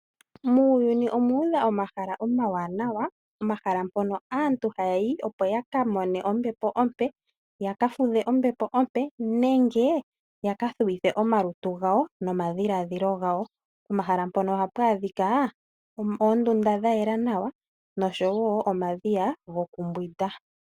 Muuyuni omuudha omahala omawanawa omahala mpono aantu haya yi opo ya ka mone ombepo ,ya ka fudhe ombepo ompe nenge ya ka thuwithe omalutu gawo nomadhiladhilo gawo. Pomahala mpono ohapu adhika oondunda dha yela nawa noshowo omadhiya gokumbwinda.